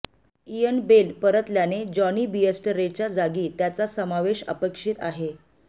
Ian Bell परतल्याने Jonny बेअस्टरेच्या जागी त्याचा समावेश अपेक्षित आहे